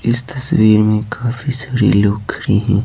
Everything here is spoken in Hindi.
इस तस्वीर में काफी सारी लोग खड़ी हैं।